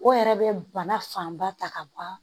O yɛrɛ bɛ bana fanba ta ka ban